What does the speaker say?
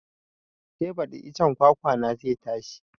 Sai baɗi icen kwakwa na zai tashi